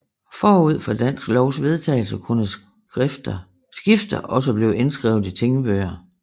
Forud for Danske Lovs vedtagelse kunne skifter også blive indskrevet i tingbøger